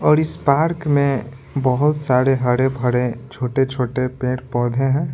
और इस पार्क में बहुत सारे हरे भरे छोटे-छोटे पेड़-पौधे हैं।